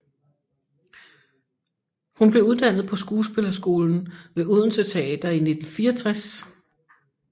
Hun blev uddannet på Skuespillerskolen ved Odense Teater i 1964